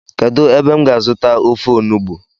Kedu ebe m ga azuta ofe onugbu?